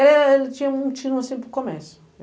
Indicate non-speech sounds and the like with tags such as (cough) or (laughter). Eh, ele tinha um (unintelligible) assim para o comércio.